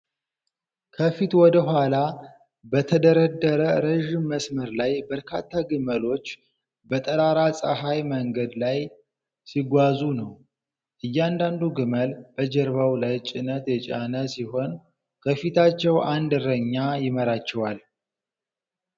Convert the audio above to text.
ከፊት ወደ ኋላ በተደረደረ ረዥም መስመር ላይ በርካታ ግመሎች በጠራራ ፀሐይ መንገድ ላይ ሲጓዙ ነው። እያንዳንዱ ግመል በጀርባው ላይ ጭነት የጫነ ሲሆን፣ ከፊታቸው አንድ እረኛ ይመራቸዋል።